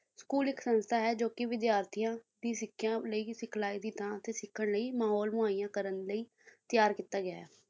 school ਇੱਕ ਸੰਸਥਾ ਹੈ ਜੋ ਕੇ ਵਿਦਿਆਰਥੀਆਂ ਦੀ ਸਿੱਖਿਆ ਲਈ ਸਿਖਲਾਈ ਦੀ ਥਾਂ ਅਤੇ ਸਿੱਖਣ ਲਈ ਮਹੌਲ ਮੁਹਈਆ ਕਰਨ ਲਈ ਤਿਆਰ ਕੀਤਾ ਗਿਆ ਹੈ।